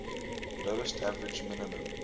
lowest average minimum